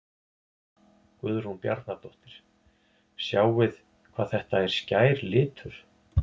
Guðrún Bjarnadóttir: Sjáið hvað þetta er skær litur?